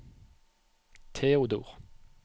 Theodor